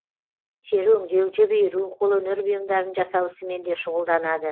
тері өңдеу жіп иіру қолөнер бұйымдарын жасау ісімен де шұғылданады